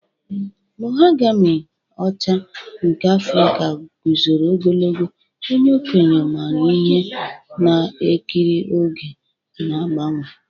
Mahogami ọcha nke Afrika guzoro ogologo, onye okenye maara ihe na-ekiri oge na-agbanwe.